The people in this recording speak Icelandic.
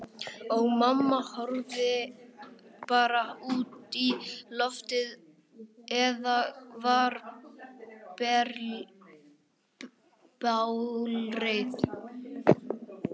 Og mamma horfði bara út í loftið, eða varð bálreið.